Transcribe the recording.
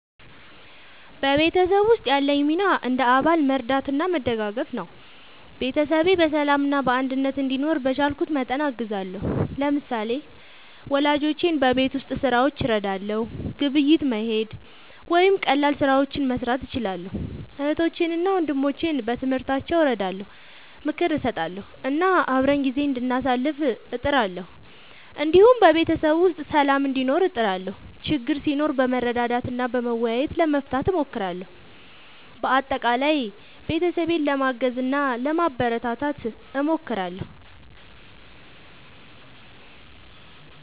በቤተሰብ ውስጥ ያለኝ ሚና እንደ አባል መርዳትና መደጋገፍ ነው። ቤተሰቤ በሰላምና በአንድነት እንዲኖር በቻልኩት መጠን አግዛለሁ። ለምሳሌ፣ ወላጆቼን በቤት ሥራዎች እረዳለሁ፣ ግብይት መሄድ ወይም ቀላል ስራዎችን መስራት እችላለሁ። እህቶቼንና ወንድሞቼን በትምህርታቸው እረዳለሁ፣ ምክር እሰጣለሁ እና አብረን ጊዜ እንዳሳልፍ እጥራለሁ። እንዲሁም በቤተሰብ ውስጥ ሰላም እንዲኖር እጥራለሁ፣ ችግር ሲኖር በመረዳዳት እና በመወያየት ለመፍታት እሞክራለሁ። በአጠቃላይ ቤተሰቤን ለማገዝ እና ለማበረታታት እሞክራለሁ።